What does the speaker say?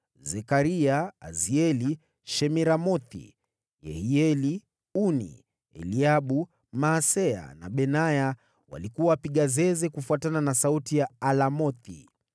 Zekaria, Azieli, Shemiramothi, Yehieli, Uni, Eliabu, Maaseya na Benaya walikuwa wapiga zeze kufuatana na sauti ya alamothi ,